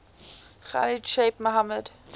khalid sheikh mohammed